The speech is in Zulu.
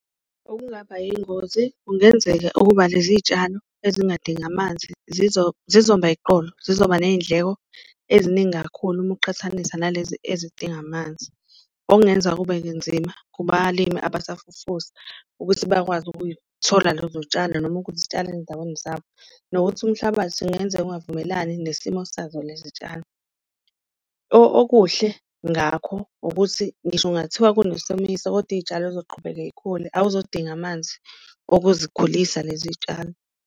Okungaba yingozi kungenzeka ukuba lezi y'tshalo ezingadingi amanzi zizomba eqolo, zizoba neyindleko eziningi kakhulu uma uqhathanisa nalezi ezidinga amanzi. Okungenza kube nzima kubalimi abasafufusa ukuthi bakwazi ukuyithola lezo yitshalo, noma ukuzitshala ezindaweni zabo nokuthi umhlabathi kungenzeka ungavumelani nesimo sazo lezi tshalo. Okuhle ngakho ukuthi ngisho kungathiwa kunesomiso, kodwa iyitshalo zizoqhubeka yikhule awuzodinga amanzi okuzikhulisa lezi tshalo.